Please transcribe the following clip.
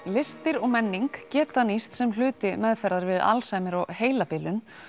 listir og menning geta nýst sem hluti meðferðar við Alzheimer og heilabilun